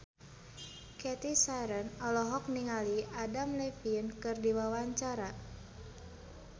Cathy Sharon olohok ningali Adam Levine keur diwawancara